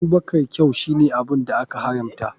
Abubakar kyau shine abun da aka haramta.